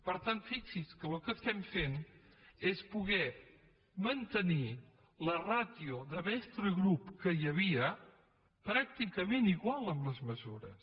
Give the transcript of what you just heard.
per tant fixi’s que el que fem és poder mantenir la ràtio de mestre grup que hi havia pràcticament igual amb les mesures